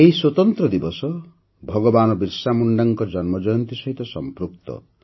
ଏହି ସ୍ୱତନ୍ତ୍ର ଦିବସ ଭଗବାନ ବିର୍ସାମୁଣ୍ଡାଙ୍କ ଜନ୍ମଜୟନ୍ତୀ ସହିତ ସଂପୃକ୍ତ